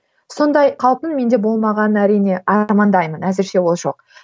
сондай қауіптің менде болмағанын әрине армандаймын әзірше ол жоқ